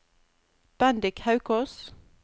Bendik Haukås